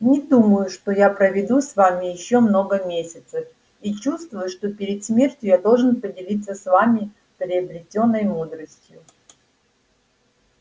не думаю что я проведу с вами ещё много месяцев и чувствую что перед смертью я должен поделиться с вами приобретённой мудростью